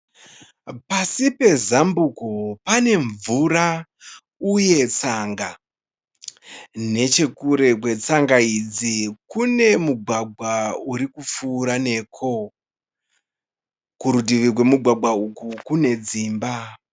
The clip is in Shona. Pasi pezambuko pane mvura uye tsanga. Nechekure kwetsanga idzi kune mugwagwa uri kupfuura neko. Kurutivi kwemugwagwa uku kune dzimba.